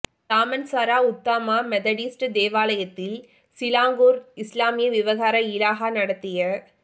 Damansara Utama Methodist தேவாலயத்தில் Selangor இஸ்லாமிய விவகார இலாகா நடத்திய